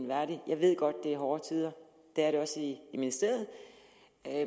værdig jeg ved godt at det er hårde tider det er det også i ministeriet